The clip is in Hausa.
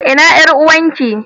Ina yar uwarki?